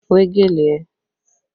Wé gèlè ẹ!